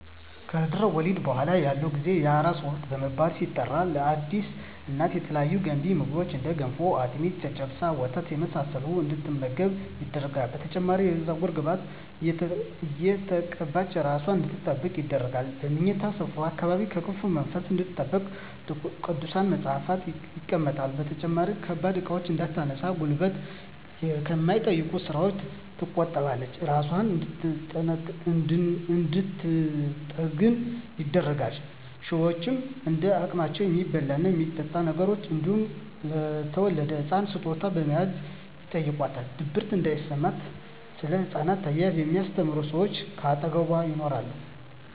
ከድህረ ወሊድ በኃላ ያለው ጊዜ የአራስነት ወቅት በመባል ሲጠራ ለአዲስ እናት የተለያዩ ገንቢ ምግቦች እንደ ገንፎ፣ አጥሚት፣ ጨጨብሳ፣ ወተት የመሳሰለውን እንድትመገብ ይደረጋል። በተጨማሪም የፀጉር ቅቤ እየተቀባች እራሷን አንድትንከባከብ ይደረጋል። በምኝታ ስፍራዋ አካባቢም ከክፉ መንፈስ እንድትጠበቅ ቅዱሳት መፀሃፍት ይቀመጣሉ። በተጨማሪም ከባድ እቃዎችን እንዳታነሳ እና ጉልበት ከሚጠይቁ ስራወች ተቆጥባ እራሷን እንድንትጠግን ይደረጋል። ሸወችም እንደ አቅማቸው የሚበላ እና የሚጠጣ ነገር እንዲሁም ለተወለደዉ ህፃን ስጦታ በመያዝ ይጨይቋታል። ድብርት እንዲያጠቃትም እና ስለ ህፃን አያያዝ የሚስተምሯት ሰወች ከአጠገቧ ይኖራሉ።